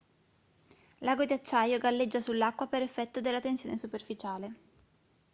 l'ago di acciaio galleggia sull'acqua per effetto della tensione superficiale